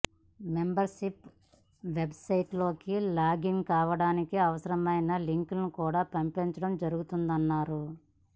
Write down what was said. member ship website లోకి login కావడానికి అవసరమైన లింక్ను కూడా పంపించడం జరుగుతుందన్నారు